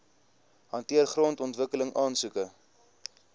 hanteer grondontwikkeling aansoeke